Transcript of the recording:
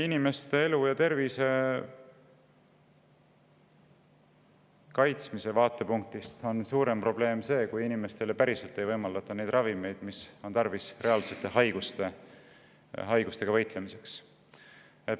Inimeste elu ja tervise kaitsmise vaatepunktist on kindlasti suurem probleem see, kui inimestele ei võimaldata ravimeid, mida neil on tarvis, et võidelda reaalsete haigustega.